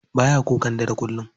Baya kukan dare kullum.